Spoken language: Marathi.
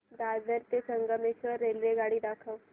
दादर ते संगमेश्वर रेल्वेगाडी दाखव